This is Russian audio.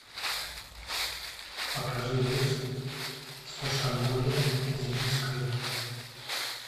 покажи рейсы в сошангуве из бискры